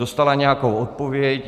Dostala nějakou odpověď.